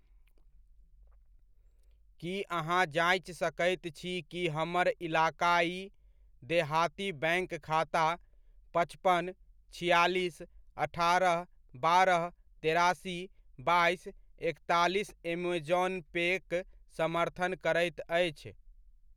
की अहाँ जाँचि सकैत छी कि हमर इलाकाइ देहाती बैङ्क खाता पचपन, छिआलिस, अठारह, बारह, तेरासी, बाइस, एकतालिस ऐमेज़ौन पे'क समर्थन करैत अछि ?